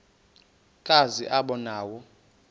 kazi aba nawo